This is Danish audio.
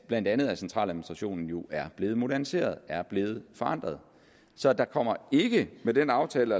blandt andet centraladministrationen jo er blevet moderniseret er blevet forandret så der kommer ikke med den aftale